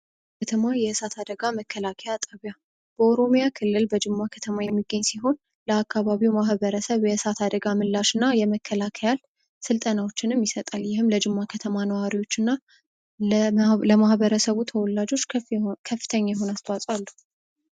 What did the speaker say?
የከተማ የሳት አደጋ መከላከያ ጣቢያ በኦሮሚያ ክልል በጅማ ከተማ የሚገኝ ሲሆን ለማህበረሰቡ ተወላጆች ተወላጆች ከፍተኛ የሆነ አስተዋጽኦ አለው።